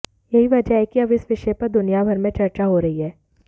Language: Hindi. यही वजह है कि अब इस विषय पर दुनियाभर में चर्चा हो रही है